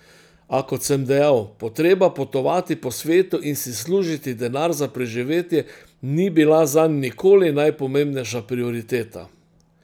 A kot sem dejal, potreba potovati po svetu in si služiti denar za preživetje, ni bila zanj nikoli najpomembnejša prioriteta.